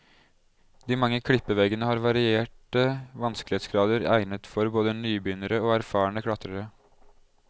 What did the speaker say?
De mange klippeveggene har varierte vanskelighetsgrader egnet for både nybegynnere og erfarne klatrere.